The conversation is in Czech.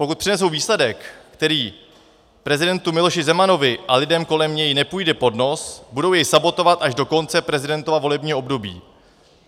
Pokud přinesou výsledek, který prezidentu Miloši Zemanovi a lidem kolem něj nepůjde pod nos, budou jej sabotovat až do konce prezidentova volebního období.